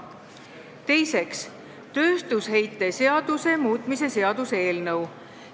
Teiseks, tööstusheite seaduse muutmise seaduse eelnõu.